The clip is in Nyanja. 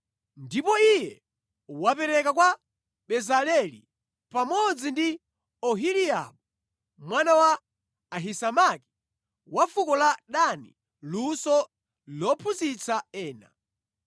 Ndipo Iye wapereka kwa Bezaleli pamodzi ndi Oholiabu mwana wa Ahisamaki, wa fuko la Dani luso lophunzitsa ena.